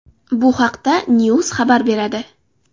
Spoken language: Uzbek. Bu haqda Knews xabar beradi .